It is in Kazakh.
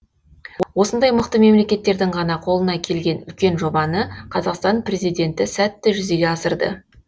осындай мықты мемлекеттердің ғана қолына келген үлкен жобаны қазақстан президенті сәтті жүзеге асырды